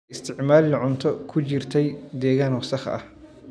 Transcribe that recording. Ha isticmaalin cunto ku jirtay deegaan wasakh ah.